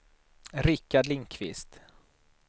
Rikard Lindkvist